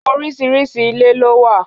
Oríṣiríṣi ilé ló wà.